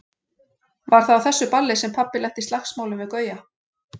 Var það á þessu balli sem pabbi lenti í slagsmálum við Gauja?